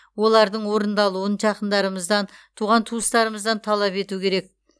олардың орындалуын жақындарымыздан туған туыстарымыздан талап ету керек